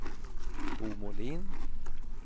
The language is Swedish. Bo Molin